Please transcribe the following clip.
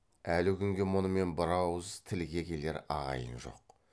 әлі күнге мұнымен бірауыз тілге келер ағайын жоқ